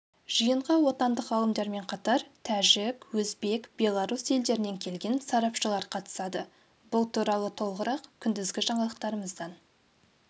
жиынға отандық ғалымдармен қатар тәжік өзбек белорус елдерінен келген сарапшылар қатысады бұл туралы толығырақ күндізгі жаңалықтарымыздан